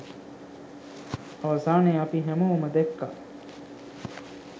අවසානයේ අපි හැමෝම දැක්කා